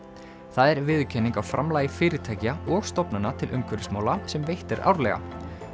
það er viðurkenning á framlagi fyrirtækja og stofnana til umhverfismála sem veitt er árlega